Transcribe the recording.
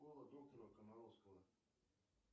школа доктора комаровского